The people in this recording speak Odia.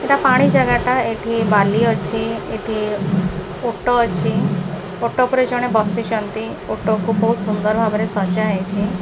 ଏଟା ପାଣି ଜାଗା ଟା ଏଠି ବାଲି ଅଛି ଏଠି ଓଟ ଅଛି ଓଟ ଉପରେ ଜଣେ ବସିଛନ୍ତି ଓଟ କୁ ବହୁତ ସୁନ୍ଦର ଭାବରେ ସଜା ହେଇଛି।